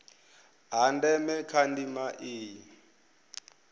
ha ndeme kha ndima iyi